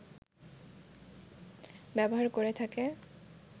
ব্যবহার করে থাকে